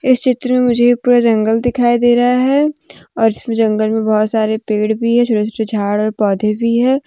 इस चित्र में मुझे ये पूरा जंगल दिखाई दे रहा है और इस जंगल में बहुत सारे पेड़ भी है जो इसमें झाड़ पौधे भी है।